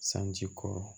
Sanji kɔrɔ